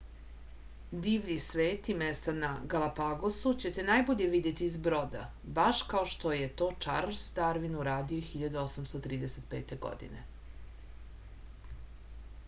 divlji svet i mesta na galapagosu ćete najbolje videti iz broda baš kao što je to čarls darvin uradio 1835. godine